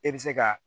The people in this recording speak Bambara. E bɛ se ka